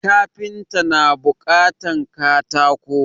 Kafinta na buƙatan katako